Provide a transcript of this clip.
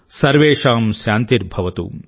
సర్వేషాం శాంతిర్భవతు